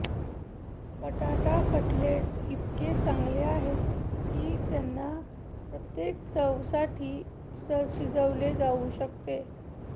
बटाटा कटलेट इतके चांगले आहेत की त्यांना प्रत्येक चवसाठी शिजवले जाऊ शकते